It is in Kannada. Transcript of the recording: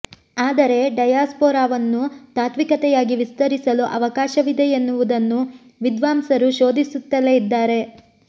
ಆದರೆ ಡಯಾಸ್ಪೊರಾವನ್ನು ತಾತ್ವಿಕತೆಯಾಗಿ ವಿಸ್ತರಿಸಲು ಅವಕಾಶವಿದೆ ಎನ್ನುವುದನ್ನು ವಿದ್ವಾಂಸರು ಶೋಧಿಸುತ್ತಲೇ ಇದ್ದಾರೆ